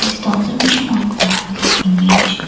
this the observation of the above image.